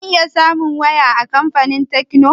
Zan iya samun waya a kamfanin tekno?